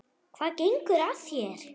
Hvað gengur að þér?